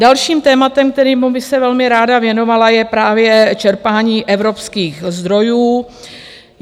Dalším tématem, kterému bych se velmi ráda věnovala, je právě čerpání evropských zdrojů.